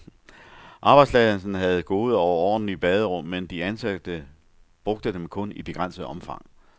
Arbejdspladsen havde gode og ordentlige baderum, men de ansatte brugte dem kun i begrænset omfang.